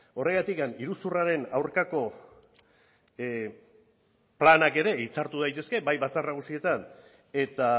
horregatik iruzurraren aurkako planak ere hitzartu daitezke bai batzar nagusietan eta